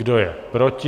Kdo je proti?